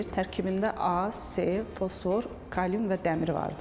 Tərkibində A, C, fosfor, kalium və dəmir vardır.